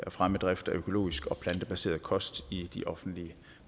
fremme drift af økologisk og plantebaseret kost i de offentlige